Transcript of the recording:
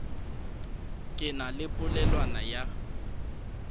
ke na le polelwana ya